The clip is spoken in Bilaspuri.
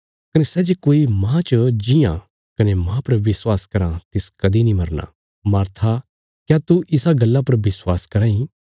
कने सै जे कोई मांह च जीआं कने मांह पर विश्वास कराँ तिस कदीं नीं मरना मार्था क्या तू इसा गल्ला पर विश्वास कराँ इ